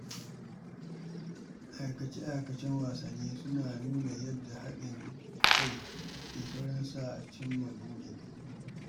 Aikace-aikacen wasanni suna nuna yadda haɗin kai ke saurin sa a cimma buri.